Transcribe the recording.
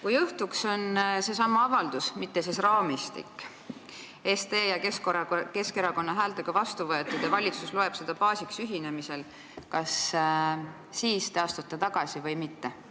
Kui õhtuks on seesama avaldus – mitte siis raamistik – SDE ja Keskerakonna häältega vastu võetud ja valitsus loeb seda ühinemise baasiks, kas te siis astute tagasi või mitte?